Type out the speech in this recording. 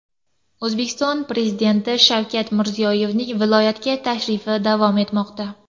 O‘zbekiston Prezidenti Shavkat Mirziyoyevning viloyatga tashrifi davom etmoqda.